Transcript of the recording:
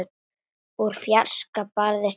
Úr fjarska barst rödd.